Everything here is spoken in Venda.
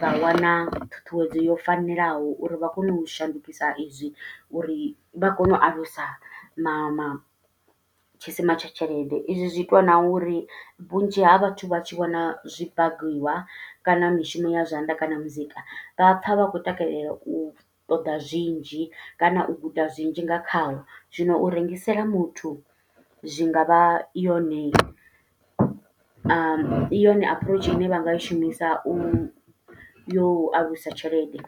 vha wana ṱhuṱhuwedzo yo fanelaho uri vha kone u shandukisa i zwi, uri vha kone u alusa ma ma tshisima tsha tshelede. I zwi zwi itwa na uri vhunzhi ha vhathu vha tshi vhona zwi baKiwa kana mishumo ya zwanḓa, kana muzika, vha pha vha khou takalela u ṱoḓa zwinzhi, kana u guda zwinzhi nga khaho. Zwino u rengisela muthu, zwi ngavha yone, yone aphuroutshu ine vha nga i shumisa u yo u a alusa tshelede.